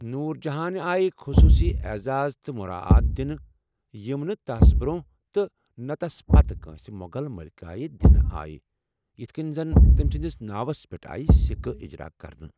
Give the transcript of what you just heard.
نوُر جہانہِ آیہ خصوٗصی عزاز تہٕ مُراعات دِنہٕ یٕم نہٕ تس برونہہ تہٕ نہٕ تَس پتہٕ كٲن٘سہِ مو٘غل ملِكایہ دِنہٕ آیہ یِتھ كٕنہِ زن تمہِ سندِس ناوس پیٹھ آیہ سِكہٕ اِجرا كرنہٕ ۔